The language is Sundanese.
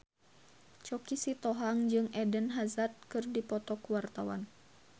Choky Sitohang jeung Eden Hazard keur dipoto ku wartawan